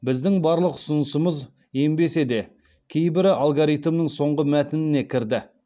біздің барлық ұсынысымыз енбесе де кейбірі алгоритмнің соңғы мәтініне кірді